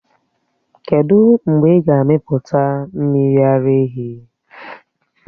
Kedụ mgbe ị ga-amịpụta mmiri ara ehi?